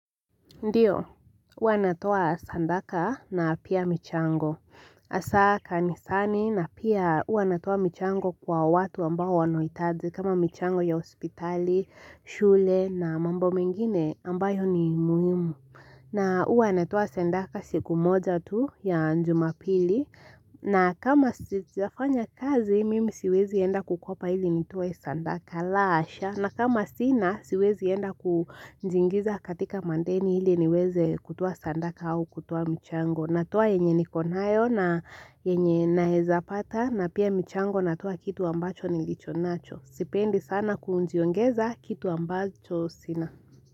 Ndio huwa natoa sandaka na pia michango Hasa kanisani na pia huwa natoa michango kwa watu ambao wanaohitaji kama michango ya hospitali shule na mambo mengine ambayo ni muhimu na huwa natoa sadaka siku moja tu ya jumapili na kama sijafanya kazi mimi siwezi enda kukopa ili nitoe sadaka la hasha na kama sina siwezi enda kujiingiza katika madeni ili niweze kutoa sadaka au kutoa michango natoa yenye niko nayo na yenye naeza pata na pia michango natoa kitu ambacho nilicho nacho Sipendi sana kujiongeza kitu ambacho sina.